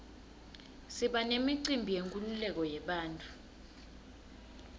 siba nemicimbi yenkululeko yebantfu